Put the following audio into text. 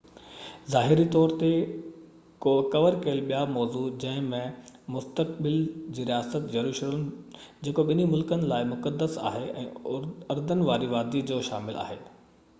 ظاهري طور تي ڪور ڪيل ٻيا موضوع جنهن ۾ مستقبل جي رياست يروشلم جيڪو ٻني ملڪن جي لاءِ مقدس آهي ۽ اردن وادي جو مسئلو شامل آهي